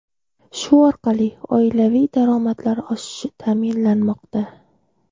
Shu orqali oilaviy daromadlar oshishi ta’minlanmoqda.